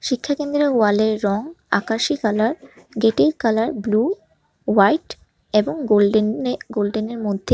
শিক্ষকেন্দ্রের ওয়ালের রং আকাশী কালার গেটের কালার ব্লু হোয়াইট এবং গোল্ডেনে গোল্ডেনের মধ্যে--